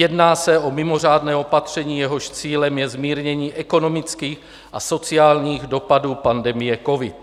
Jedná se o mimořádné opatření, jehož cílem je zmírnění ekonomických a sociálních dopadů pandemie covid.